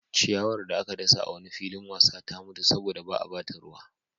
Ciyawar da aka dasa a wani filin wasa ta mutu saboda ba a ba ta ruwa.